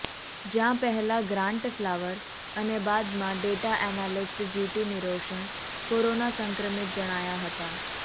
જ્યાં પહેલા Grant Flower અને બાદમાં data analyst G T Niroshan corona સંક્રમિત જણાયા હતા